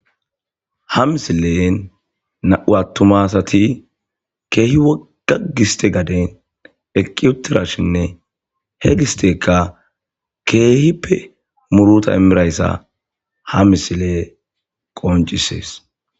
Ha misilen nam7u atuma asati kehi wogga giste gade eqi utidashinne he gisteyika kehippe muruta imidaysa ha misiley qoncises.